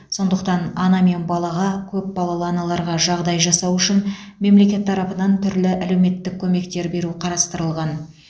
сондықтан ана мен балаға көпбалалы аналарға жағдай жасау үшін мемлекет тарапынан түрлі әлеуметтік көмектер беру қарастырылған